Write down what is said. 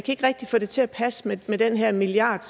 ikke rigtig få det til at passe med med den her milliard